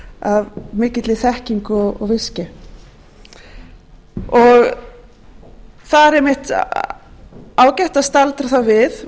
er ekki gert af mikilli þekkingu og visku það er einmitt ágætt að staldra þá við